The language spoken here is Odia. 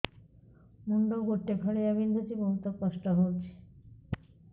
ମୁଣ୍ଡ ଗୋଟେ ଫାଳିଆ ବିନ୍ଧୁଚି ବହୁତ କଷ୍ଟ ହଉଚି